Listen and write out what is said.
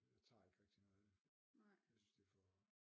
Jeg tager ikke rigtig noget af det jeg synes at det er for